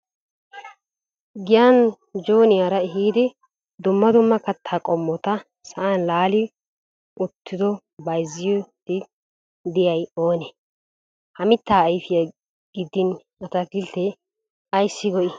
Giyan jooniyara ehiidi dumma dumma kattaa qommota sa'an laali uttidooha bayzzidi diyay oone ? Ha mitta ayfiya gidin ataakilte ayssi go"ii?